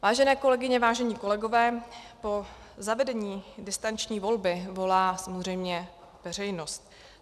Vážené kolegyně, vážení kolegové, po zavedení distanční volby volá samozřejmě veřejnost.